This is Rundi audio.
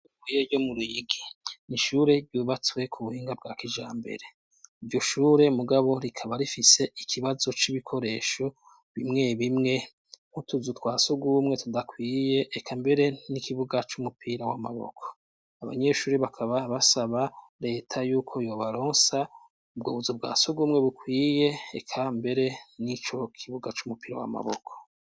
Ishure ryo mu Ruyigi, ni ishure ryubatswe ku buhinga bwa kijambere. Iryo shure mugabo rikaba rifise ikibazo c'ibikoresho bimwe bimwe nk'utuzu twa sugumwe tudakwiye eka mbere n'ikibuga c'umupira w'amaboko, abanyeshuri bakaba basaba reta yuko yobaronsa ubwo buzu bwa sugumwe bukwiye eka mbere n'ico kibuga c'umupira w'amaboko.